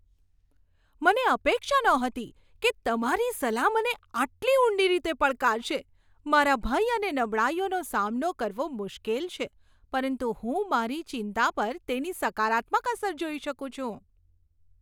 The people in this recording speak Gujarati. મને અપેક્ષા નહોતી કે તમારી સલાહ મને આટલી ઊંડી રીતે પડકારશે! મારા ભય અને નબળાઈઓનો સામનો કરવો મુશ્કેલ છે, પરંતુ હું મારી ચિંતા પર તેની સકારાત્મક અસર જોઈ શકું છું.